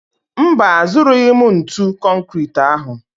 Mba, azụrụghị m ntu konkịtị ahụ